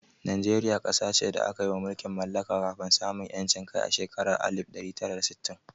Najeriya ƙasa ce da aka yi ma mulkin mallaka kafin samun 'yanci a shekarar alif ɗari tara da sittin.